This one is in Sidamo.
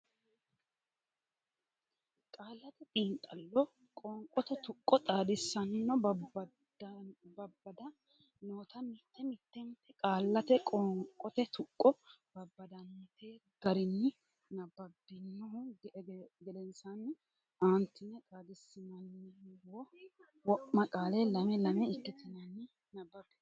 Qaallate Xiinxallo Qoonqote Tuqqo Xaadisanna Babbada noota mitte mittenta qaallata qoonqote tuqqo babbadante garinni nabbabbinihu gedensaanni aantine xaadissinanni wo ma qaale lame lame ikkitinanni nabbabbe.